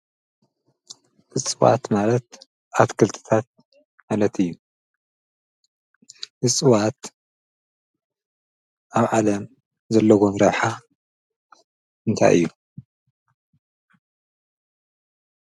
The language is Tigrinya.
እፅዋት ማለት ኣትክልትታት ማለት እዩ፡፡ እፅዋት ኣብ ዓለም ዘለዎም ረብሓ እንታይ እዩ?